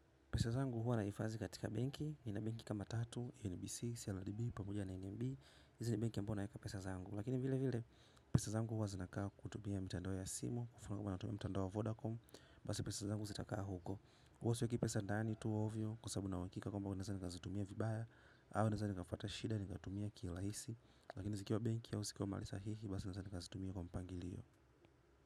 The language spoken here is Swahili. Pesa zangu huwa nahifadhi katika benki, nina benki kama tatu, NBC, CLDB, pamoja na NNB, hizi ni benki ambayo naweka pesa zangu. Lakini vile vile, pesa zangu huwa zinakaa kutumia mitandao ya simu, kufungua natumia mtandao Vodacom, basi pesa zangu zitakaa huko. Huwa siweki pesa ndani tu ovyo kwa sababu nina uhakika kwamba naweza nikazitumia vibaya, au naweza nikapata shida nikatumia kirahisi. Lakini zikiwa benki au zikiwa mahali sahihi, basi naweza nikazitumia kwa mpangilio.